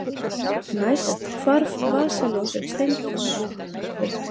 Næst hvarf vasaljós Stenkos.